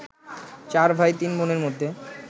চার ভাই তিন বোনের মধ্যে